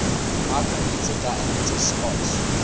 micrometre diameter spots